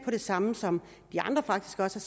det samme som de andre faktisk også